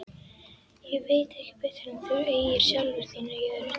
Ég veit ekki betur en þú eigir sjálfur þína jörð!